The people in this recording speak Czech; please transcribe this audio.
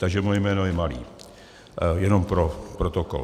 Takže moje jméno je Malý, jenom pro protokol.